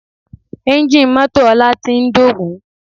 Ẹ́ńjì mọ́tò ọlá ti ń dògún